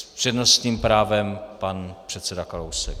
S přednostním právem pan předseda Kalousek.